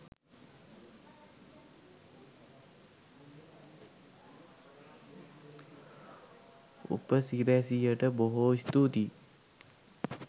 උපසිරැසියට බොහෝ ස්තූතියි